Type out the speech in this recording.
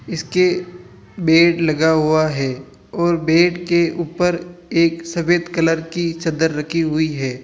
इसके बेड लगा हुआ है और बेड के ऊपर एक सफेद कलर की चद्दर रखी हुई है।